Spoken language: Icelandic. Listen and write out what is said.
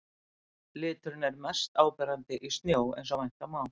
Liturinn er mest áberandi í snjó eins og vænta má.